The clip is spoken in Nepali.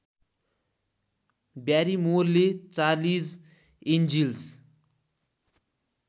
ब्यारिमोरले चार्लिज एन्जिल्स